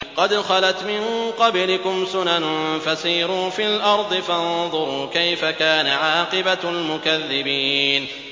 قَدْ خَلَتْ مِن قَبْلِكُمْ سُنَنٌ فَسِيرُوا فِي الْأَرْضِ فَانظُرُوا كَيْفَ كَانَ عَاقِبَةُ الْمُكَذِّبِينَ